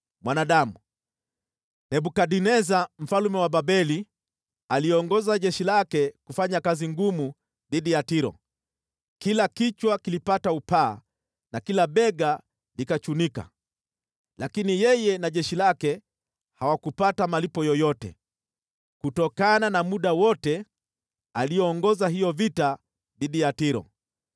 “Mwanadamu, Nebukadneza mfalme wa Babeli aliongoza jeshi lake kufanya kazi ngumu dhidi ya Tiro; kila kichwa kilipata upaa na kila bega likachunika. Lakini yeye na jeshi lake hawakupata malipo yoyote kutokana na muda wote aliongoza hiyo vita dhidi ya Tiro.